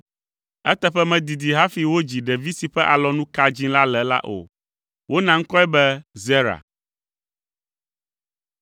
Eteƒe medidi hafi wodzi ɖevi si ƒe alɔnu ka dzĩ la le la o. Wona ŋkɔe be Zera.